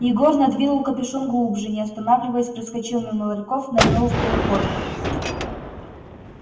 егор надвинул капюшон глубже не останавливаясь проскочил мимо ларьков нырнул в переход